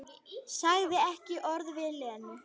Sagði ekki orð við Lenu.